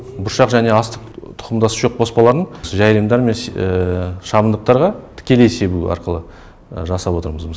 бұршақ және астық тұқымдас шөп қоспаларын жайылымдар мен шабындықтарға тікелей себу арқылы жасап отырмыз